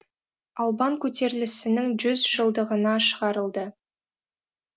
албан көтерілісінің жүз жылдығына шығарылды